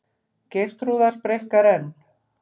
Geirþrúðar breikkar enn.